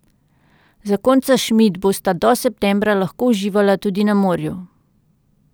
Zakonca Šmid bosta do septembra lahko uživala tudi na morju.